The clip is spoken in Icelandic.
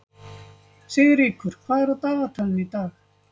Sigríkur, hvað er á dagatalinu í dag?